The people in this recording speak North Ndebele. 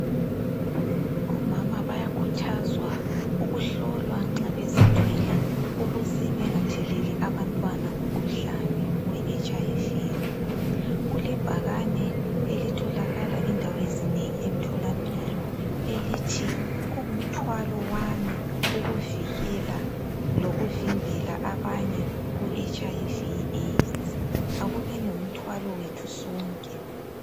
Omama bayakhuthazwa ukuhlolwa nxa bezithwele ukuze bengatheleli abantwana umkhuhlane we HIV.Kulebhakane elithokala endaweni ezinengi emtholampilo elithi kungumthwalo wami ukuvikela lokuvimbela abanye ku HIV le Aids. Akubeni ngumthwalo wethu sonke.